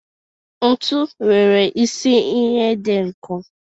mbọ nwere isi ihe dị nkọ